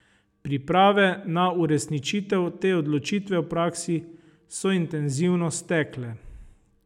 Priprave na uresničitev te odločitve v praksi so intenzivno stekle.